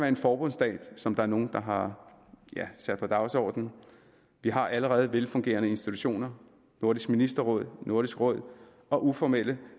en forbundsstat som der er nogle der har sat på dagsordenen vi har allerede velfungerende institutioner nordisk ministerråd nordisk råd og uformelle